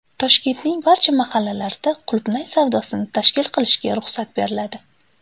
Toshkentning barcha mahallalarida qulupnay savdosini tashkil qilishga ruxsat beriladi.